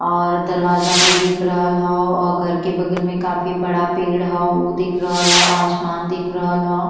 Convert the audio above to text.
और दरवाजा भी दिख रहल ह और घर के बगल में काफी बड़ा पेड़ ह ओ दिखल रहल ह। आसमान दिख रहल ह।